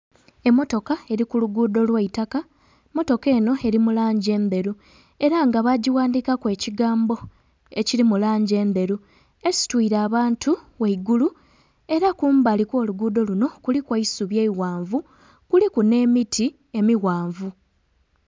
Emmotoka eli ku luguudo lwa itaka, mmotoka eno eli mu langi endheru, era nga baagighandhiikaku ekigambo ekili mu langi endheru. Esitwiile abantu ghaigulu. Era kumbali kw'oluguudo lunho kuliku eisubi eighanvu, kuliku nh'emiti emighanvu.